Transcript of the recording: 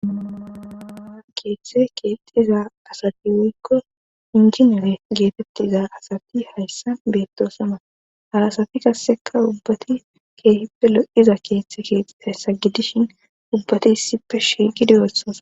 keeththe keexxiza asati woykko inji newe geetettiza asati hayssan beettosona ha asati qasseka ubbati keehippe lo7iza keeththe keexiza gidishin ubbati issippe shiiqidossona